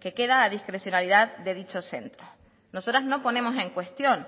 que queda a discrecionalidad de dicho centro nosotras no ponemos en cuestión